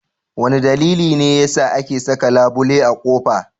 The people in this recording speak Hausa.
Wane dalili ne yasa ake saka labule a kofa?